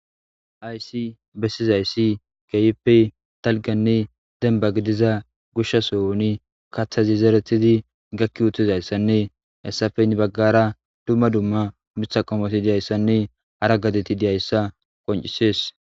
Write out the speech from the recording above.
Hayssi bessizayi kehippe dalgganne dembba giidiza goshsha sohon kaththazi zeretidi gaaki uttidayssanne hayssappe gedde baggara dumma dumma miththa qommotine dizayssanne hara gadeti diizayssa qonccises.